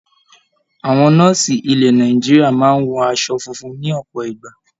Àwọn nọ́ọ̀sì ilẹ̀ Nàìjíríà máa ń wọ aṣọ funfun ní ọ̀pọ̀ ìgbà.